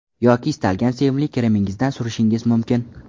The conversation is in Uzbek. Yoki istalgan sevimli kremingizdan surishingiz mumkin.